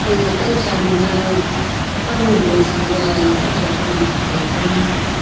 aga kamsa mana pannu e cha taiga aga kamsa sui ma atte kam--